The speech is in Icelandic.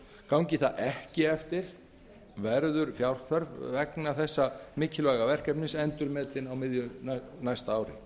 gangi það ekki eftir verður fjárþörf atvinnuleysistryggingasjóðs endurmetin á miðju næsta ári